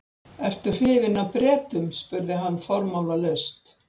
Ertu hrifinn af Bretum? spurði hann formálalaust.